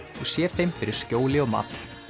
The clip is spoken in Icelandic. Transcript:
og sér þeim fyrir skjóli og mat